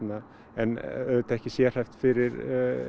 en auðvitað ekki sérhæft fyrir